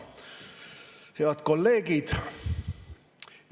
Head kolleegid!